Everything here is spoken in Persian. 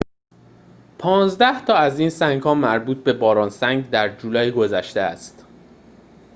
پانزده تا از این سنگ‌ها مربوط به باران شهاب سنگ در جولای گذشته است